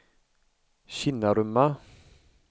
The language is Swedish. Kinnarumma